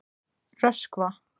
Röskva